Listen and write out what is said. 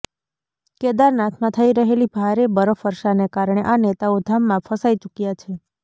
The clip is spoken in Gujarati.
કેદારનાથમાં થઇ રહેલી ભારે બરફવર્ષાને કારણે આ નેતાઓ ધામમાં ફસાઈ ચુક્યા છે